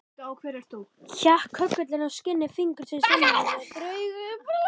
Hékk köggullinn á skinni fingursins innanverðu, og draup úr blóð.